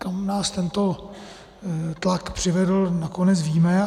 Kam nás tento tlak přivedl, nakonec víme.